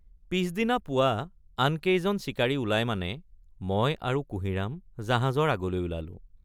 পিচদিনা পুৱা আনকেইজন চিকাৰী ওলায় মানে মই আৰু কুঁহিৰাম জাহাজৰ আগলৈ ওলালোঁ।